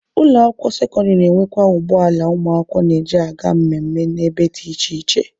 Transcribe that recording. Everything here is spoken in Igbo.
Ụlọ akwụkwọ sekọndịrị na-enwekwa ụgbọ ala ụmụakwụkwọ na-eji aga mmemme na ebe dị iche iche.